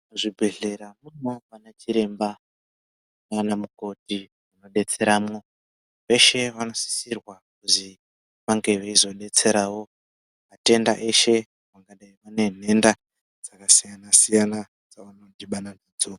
Muzvibhedhlera munoonekwa anachiremba naanamukoti anodetseremwo, veshe vanosisirwa kuzi vange veizodetserawo matenda eshe pamwe nenhenda dzakasiyana -siyana dzavanodhibana nadzo.